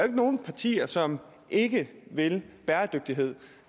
ikke nogen partier som ikke vil bæredygtighed